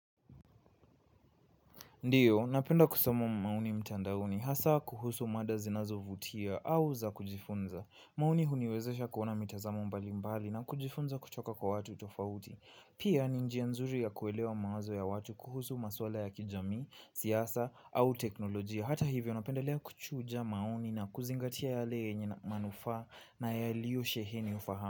Ndiyo, napenda kusoma maoni mtandaoni hasa kuhusu mada zinazovutia au za kujifunza. Maoni huniwezesha kuona mitazamo mbali mbali na kujifunza kutoka kwa watu tofauti. Pia ni njia nzuri ya kuelewa mawazo ya watu kuhusu maswala ya kijamii, siasa au teknolojia. Hata hivyo napendelea kuchuja maoni na kuzingatia yale yenye na manufaa na yaliyo sheheni ufahama.